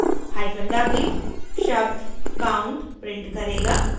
hyphen w शब्द count count print करेगा